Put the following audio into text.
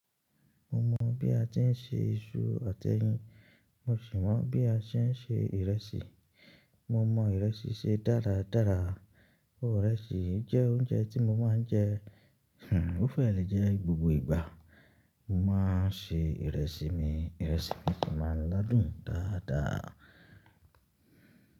Mo mọ bí a ti i ṣe iṣu àti ẹyin mo sì mọ bí a tii ṣe ìrẹsì. Mo mọ ìrẹsì ṣe dára-dára, ìrẹsì jẹ oúnjẹ tí mo ma ń jẹ, o feele jẹ gbogbo ìgbà. Mo máa ń ṣe ìrẹsì mi, ìrẹsì mi sìí máa ń la dùn dáadáa.